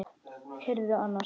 Heyrðu annars.